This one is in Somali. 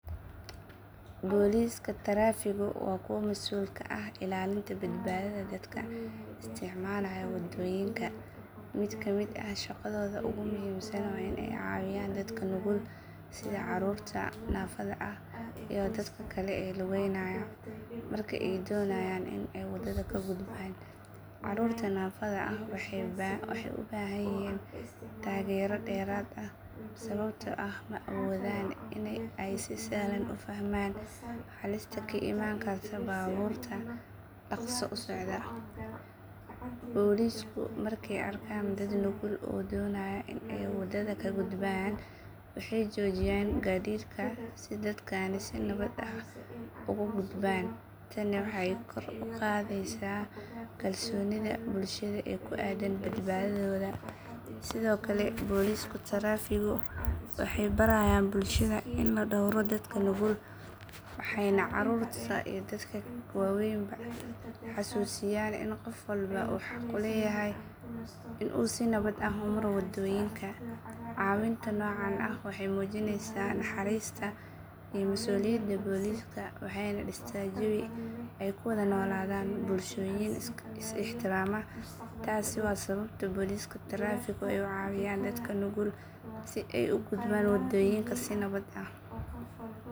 Booliiska tarafiggu waa kuwa mas’uul ka ah ilaalinta badbaadada dadka isticmaalaya waddooyinka. Mid ka mid ah shaqadooda ugu muhiimsan waa in ay caawiyaan dadka nugul sida carruurta naafada ah iyo dadka kale ee lugeynaya marka ay doonayaan in ay waddada ka gudbaan. Carruurta naafada ah waxay u baahan yihiin taageero dheeraad ah sababtoo ah ma awoodaan in ay si sahlan u fahmaan halista ka imaan karta baabuurta dhaqso u socda. Booliisku markay arkaan dad nugul oo doonaya in ay waddada ka gudbaan waxay joojiyaan gaadiidka si dadkani si nabad ah ugu gudbaan. Tani waxay kor u qaadaysaa kalsoonida bulshada ee ku aaddan badbaadadooda. Sidoo kale booliiska tarafiggu waxay barayaan bulshada in la dhowro dadka nugul, waxayna carruurta iyo dadka waaweynba xasuusiyaan in qof walba uu xaq u leeyahay in uu si nabad ah u maro waddooyinka. Caawinta noocan ah waxay muujinaysaa naxariista iyo mas’uuliyadda booliiska waxayna dhistaa jawi ay ku wada noolaadaan bulshooyin is ixtiraama. Taasi waa sababta booliiska tarafiggu ay u caawiyaan dadka nugul si ay u gudbaan waddooyinka si nabad ah.